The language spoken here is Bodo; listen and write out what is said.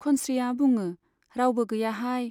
खंस्रीया बुङो , रावबो गैयाहाय।